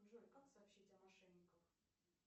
джой как сообщить о мошенниках